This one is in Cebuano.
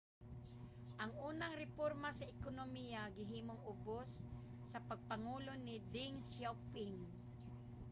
ang unang reporma sa ekonomiya gihimo ubos sa pagpangulo ni deng xiaoping